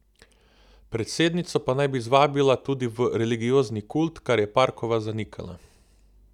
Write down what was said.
Predsednico pa naj bi zvabila tudi v religiozni kult, kar je Parkova zanikala.